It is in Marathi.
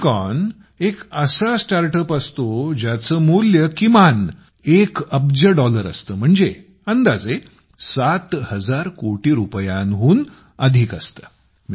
युनिकॉर्न एक असा स्टार्टअप असतो ज्याचं मूल्य किमान 1 अब्ज डॉलर असतं म्हणजे अंदाजे सात हज़ार कोटी रुपयांहून अधिक असतं